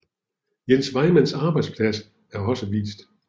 Jens Vejmands arbejdsplads er også vist